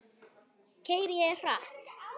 Keyri ég hratt?